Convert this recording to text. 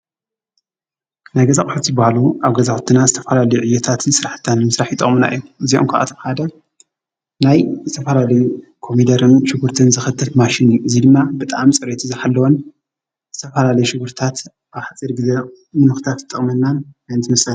ነገዛቕሓቲ በሃሉ ኣገዛውትና ዝተፈላልዩ ዕየታትን ሠራሕታን ምሥራሕ ይጠቕምና የ እዚይ እንኳ ኣተምሃደ ናይ እዝተፈራል ኮሚደረኑት ሽጕርትን ዘኽትፍ ማሽን ዚይ ድማ በጣም ጸርት ዝሓልወን ዝተፋራሌ ሽጕርታት ኣሕጺድ ጊዜ ምኑኽታት ጠቕመናን ኣንትምሱ።